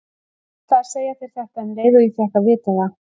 Ég ætlaði að segja þér þetta um leið og ég fékk að vita það.